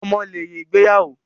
Ọmọ lèrè ìgbéyàwó